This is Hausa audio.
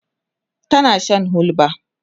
tana Shan hulba